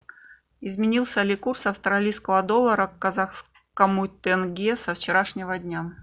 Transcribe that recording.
изменился ли курс австралийского доллара к казахскому тенге со вчерашнего дня